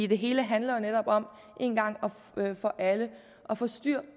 det hele handler jo netop om én gang for alle at få styr